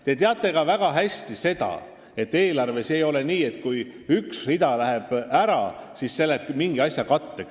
Te teate väga hästi ka seda, et eelarves ei ole nii, et kui üks rida läheb ära, siis see läheb mingi asja katteks.